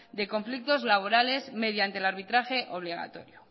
de conflictos laborales mediante el arbitraje obligatorio